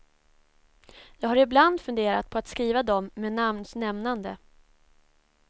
Jag har ibland funderat på att skriva dem med namns nämnande.